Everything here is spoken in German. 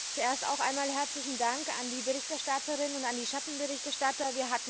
Zuerst einmal herzlichen Dank an die Berichterstatterin und an die Schattenberichterstatter.